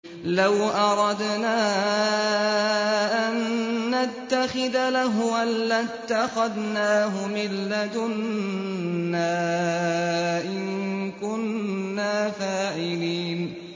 لَوْ أَرَدْنَا أَن نَّتَّخِذَ لَهْوًا لَّاتَّخَذْنَاهُ مِن لَّدُنَّا إِن كُنَّا فَاعِلِينَ